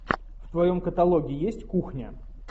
в твоем каталоге есть кухня